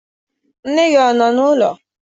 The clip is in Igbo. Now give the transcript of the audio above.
Nne gị ọ nọ n'ụlọ?